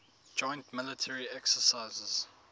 joint military exercises